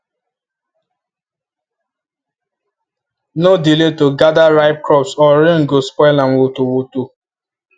no delay to gather ripe crops or rain go spoil am woto woto